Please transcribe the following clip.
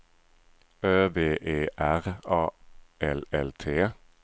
Ö V E R A L L T